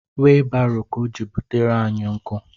Weebaro ka ọ jiri butere anyị nkụ